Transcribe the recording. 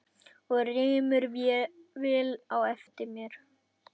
Og rymur vel á eftir.